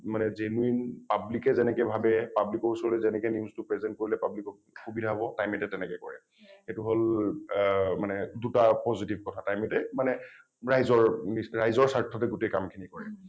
মানে genuine public এ যেনেকৈ ভাবে মানে public ৰ ওচৰলৈ যেনেকৈ news টো present কৰিলে public ক সুবিধা হব time eight এ তেনেকৈ কৰে । এইটো হল অ মনে দুটা positive কথা time eight এ মানে ৰাইজৰ নি ৰাইজৰ স্বাৰ্থতে গোটেই কাম খিনি কৰে